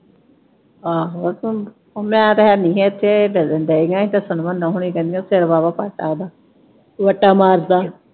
ਆਹੋ ਓਹ ਮੈਂ ਤੇ ਹੈਨੀ ਹੀ ਇਥੇ ਇਹ ਦੱਸਣ ਢਈਆ ਹੀ ਦੱਸਣ ਮੰਨੋ ਹੋਣੀ ਕਿਹਦੀਆਂ ਸਿਰ ਵਾਹਵਾ ਪਾਟਾ ਓਹਦਾ। ਵੱਟਾ ਮਾਰ ਤਾ।